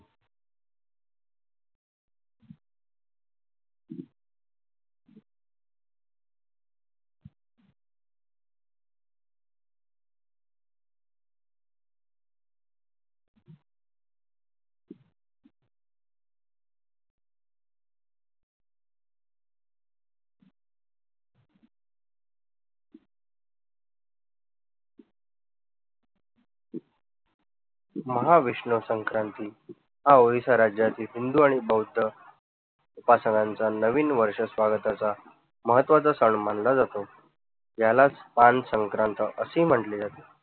महावैष्णव संक्रांत ही ओडीसा राज्यातील हिंदू आणि बौद्ध बांधवांचा नाविईन वर्ष स्वागताचा महत्वाचा सन मानला जातो. यालाच संक्रांत असे म्हटले जाते.